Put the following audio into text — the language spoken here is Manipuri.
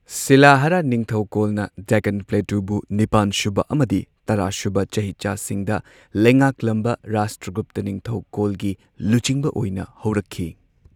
ꯁꯤꯂꯥꯍꯥꯔꯥ ꯅꯤꯡꯊꯧꯀꯣꯜꯅꯥ ꯗꯦꯛꯀꯥꯟ ꯄ꯭ꯂꯦꯇꯨꯕꯨ ꯅꯤꯄꯥꯟꯁꯨꯕ ꯑꯃꯗꯤ ꯇꯔꯥꯁꯨꯕ ꯆꯍꯤꯆꯥꯁꯤꯡꯗ ꯂꯩꯉꯥꯛꯂꯝꯕ ꯔꯥꯁꯇ꯭ꯔꯒꯨꯞꯇꯥ ꯅꯤꯡꯊꯧꯀꯣꯜꯅ ꯂꯨꯆꯤꯡꯕ ꯑꯣꯏꯅ ꯍꯧꯔꯛꯈꯤ꯫